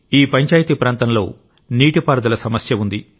ఈ పంచాయతీ ప్రాంతంలో నీటి పారుదల సమస్య ఉంది